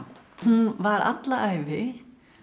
hún var alla ævi